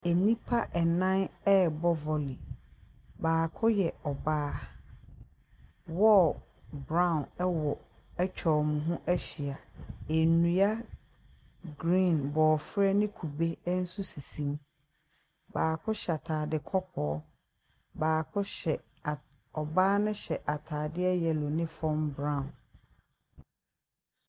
Anipa nnan ereb) volley , baako y3 )baa . Wall brown 3w) atwa )mo ho ahyia , nnua green , b))fr3 ne kube nso asisi mu . baako hy3 ataade k)k)) , baako hy3, )baa no hy3 ataade3 yellow ne fam brown .